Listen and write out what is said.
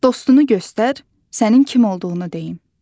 Dostunu göstər, sənin kim olduğunu deyim.